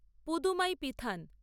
Pudhumai Pithan